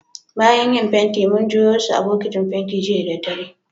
Bayan yin fentin, mun juyo su a'bokitin fentin jiya da dare.